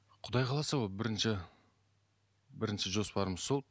құдай қаласа ол бірінші бірінші жоспарымыз сол